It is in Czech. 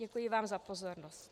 Děkuji vám za pozornost.